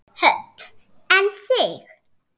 Hödd: En þig?